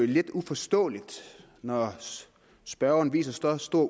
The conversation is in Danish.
lidt uforståeligt når spørgeren viser så stor